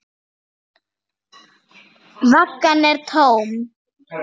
Vaggan er tóm.